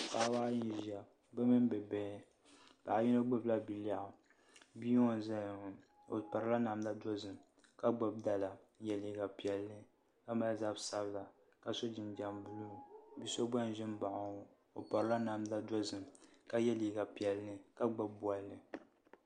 Paɣaba ayi n ʒɛya bi mini bi bihi paɣa yino gbubila bia lɛɣu bia n ʒɛya ŋo o pirila namda dozim ka gbubi dala n nyɛ liiga piɛlli ka mali zabi sabila ka so jinjɛm buluu bia so gba n ʒi n baɣa o ŋo o pirila namda dozim ka yɛ liiga piɛlli ka gbubi bolli